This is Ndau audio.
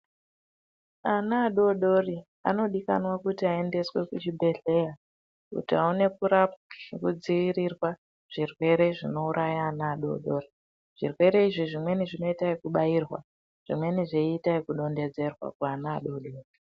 Ana adodori anodikanwa kuti aendeswe kuzvibhehleya kuti awane kurapwa nekudziirirwa kuzvirwere zvinouraya ana adodori .Zvirwere izvi zvimweni zvoita ekubakrwa zvimweni zvoita ekudondedzerwa kuana adodori.